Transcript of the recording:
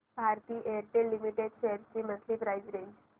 Bharti Airtel limited shares ची monthly price range